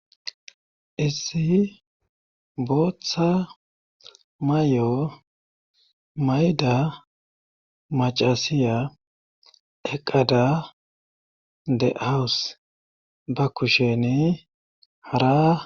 issi booththa may7o mayda macasiya eqada de hawus ba kusheni hara